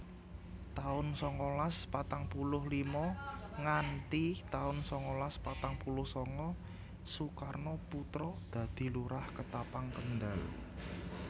taun sangalas patang puluh lima nganthi taun sangalas patang puluh sanga Sukarmo Putra dadi Lurah Ketapang Kendal